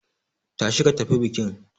Tashi ka tafi bikin.